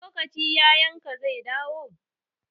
Wani lokaci yayan ka zai dawo?